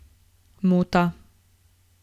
Muta.